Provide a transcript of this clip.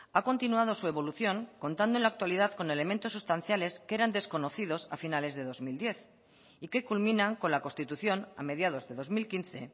ha continuado su evolución contando en la actualidad con elementos sustanciales que eran desconocidos a finales de dos mil diez y que culminan con la constitución a mediados de dos mil quince